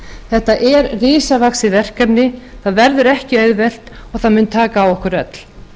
þetta er risavaxið verkefni það verður ekki auðvelt og það mun taka á okkur öll